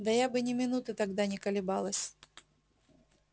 да я бы ни минуты тогда не колебалась